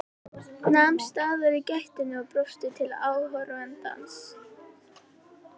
Nam staðar í gættinni og brosti til áhorfandans.